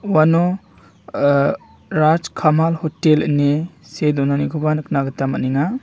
uano-uh-rajkamal hotel ine see donanikoba nikna gita man·enga.